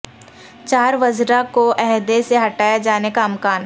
چار وزراء کو عہدے سے ہٹائے جانے کا امکان